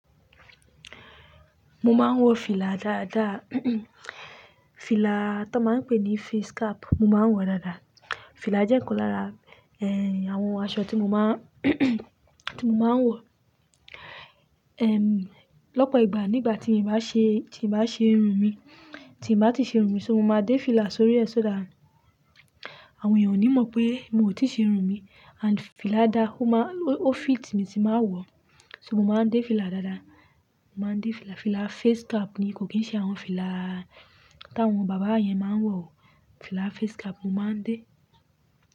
Mo máa ń wọ fìlà dáadáa. Fìlà tó máa ń pè ní face cap mo máa ń wọ dáadáa. Fìlà jẹ́ ikan lára, ẹ, àwọn aṣọ tí mo máa ń, tí mo máa ń wọ. Ehn, lọ́pọ̀ ìgbà nígbà tí mii bá ṣe, tí n bá ṣe irun mi, tí n bá ti ṣe irun mi, so mo máa dé fìlà sórí ẹ sọ́dà àwọn ènìyàn ò ní mọ̀ pé mi ò tí ì ṣe irun mi. And fìlà dáa, ó máa, ó fit mi tí n báa wọ. Ṣo mo máa ń dé fìlà dáadáa? Mo máa ń dé fìlà. Fìlà face cap ni, kò kín ṣe àwọn fìlà táwọn bàbá yẹn máa ń wọ o. Fìlà face cap mo máa ń dé.